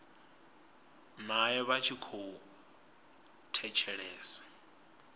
nae vha tshi khou thetshelesa